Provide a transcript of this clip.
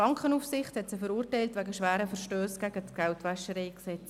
Die Bankenaufsicht hat sie wegen schwerer Verstösse gegen das GwG verurteilt.